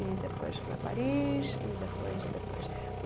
e depois para Paris, e depois, depois.